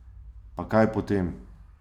Pa kaj potem?